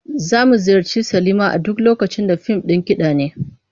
Za mu ziyarci silima a duk lokacin da fim ɗin kiɗa ne.